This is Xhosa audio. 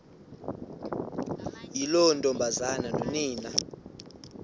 yiloo ntombazana nonina